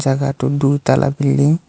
জাগাটো দুই তালা বিল্ডিং ।